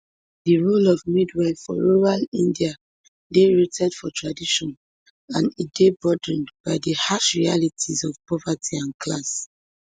di role of midwife for rural india dey rooted for tradition and e dey burdened by di harsh realities of poverty and class